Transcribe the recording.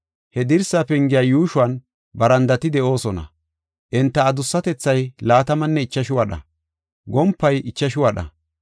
He dirsa pengey yuushuwan barandati de7oosona; enta adussatethay laatamanne ichashu wadha; gompay ichashu wadha.